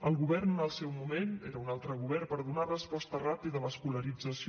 el govern en el seu moment era un altre govern per donar resposta ràpida a l’escolarització